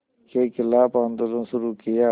के ख़िलाफ़ आंदोलन शुरू किया